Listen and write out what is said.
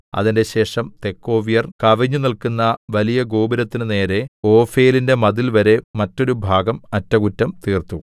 അതിന്‍റെശേഷം തെക്കോവ്യർ കവിഞ്ഞുനില്ക്കുന്ന വലിയ ഗോപുരത്തിനു നേരെ ഓഫേലിന്റെ മതിൽവരെ മറ്റൊരുഭാഗം അറ്റകുറ്റം തീർത്തു